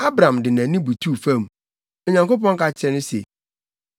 Abram de nʼanim butuu fam, na Onyankopɔn ka kyerɛɛ no se,